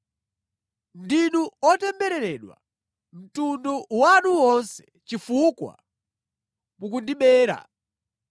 Mtundu wanu wonse ndinu otembereredwa, chifukwa mukundibera.